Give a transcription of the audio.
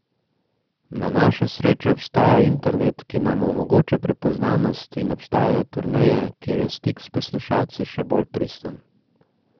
Na našo srečo obstaja internet, ki nam omogoča prepoznavnost, in obstajajo turneje, kjer je stik s poslušalci še bolj pristen.